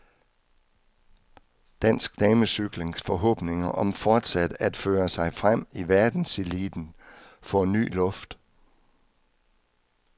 Dansk damecyklings forhåbninger om fortsat at føre sig frem i verdenseliten får ny luft.